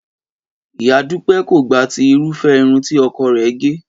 Ìyá Dúpẹ́ kò gba ti irúfẹ́ irun tí ọkọ rẹ̀ gẹ̀